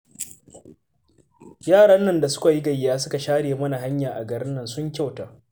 Yaran nan da suka yi gayya suka share mana hanya a garin nan sun kyauta